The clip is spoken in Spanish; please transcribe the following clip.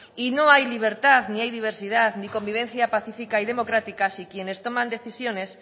y no hay libertad ni hay diversidad ni convivencia pacífica y democrática si quienes toman decisiones